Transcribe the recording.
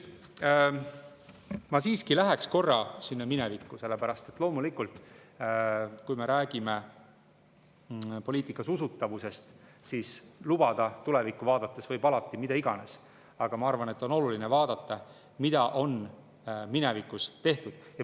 Ma siiski läheks korra minevikku, sest loomulikult, kui me räägime poliitika usutavusest, siis tulevikku vaadates võib alati lubada mida iganes, aga ma arvan, et on oluline ka vaadata, mida on minevikus tehtud.